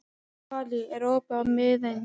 Váli, er opið í Miðeind?